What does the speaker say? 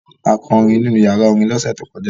A kọrin nínú ìyàrá-orin lọ́sẹ̀ tó kọjá.